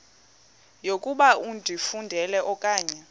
yokuba ifudumele okanye